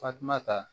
Fatumata